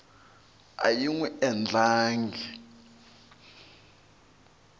a yi n wi endlangi